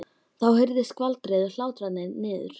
Þá heyrðist skvaldrið og hlátrarnir niður.